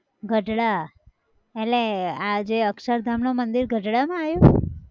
ગઢડા, એટલે આ જે અક્ષરધામ નું મંદિર ગઢડા માં આયું!